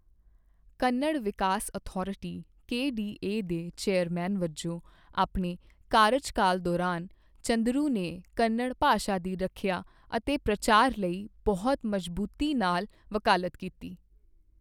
ਕੰਨੜ ਵਿਕਾਸ authority KDA ਦੇ chairman ਵਜੋਂ ਆਪਣੇ ਕਾਰਜਕਾਲ ਦੌਰਾਨ, ਚੰਦਰੂ ਨੇ ਕੰਨੜ ਭਾਸ਼ਾ ਦੀ ਰੱਖਿਆ ਅਤੇ ਪ੍ਰਚਾਰ ਲਈ ਬਹੁਤ ਮਜ਼ਬੂਤੀ ਨਾਲ ਵਕਾਲਤ ਕੀਤੀ।